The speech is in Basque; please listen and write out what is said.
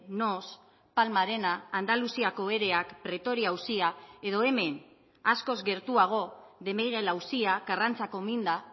noos palma arena andaluziako ereak pretoria auzia edo hemen askoz gertuago de miguel auzia karrantzako minda